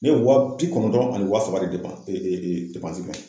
Ne ye wa bi kɔnɔntɔn ani wa saba depan